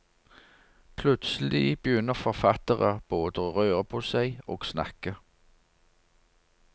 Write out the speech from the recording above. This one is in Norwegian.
Plutselig begynner forfattere både å røre på seg og snakke.